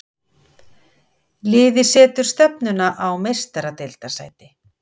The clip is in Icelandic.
Liðið setur stefnuna á Meistaradeildarsæti.